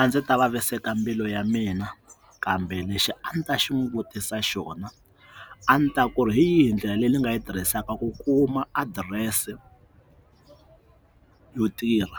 A ndzi ta vaviseka mbilu ya mina kambe lexi a ndzi ta xi n'wi vutisa xona a ni ta ku ri hi yihi ndlela leyi nga yi tirhisaka ku kuma adirese yo tirha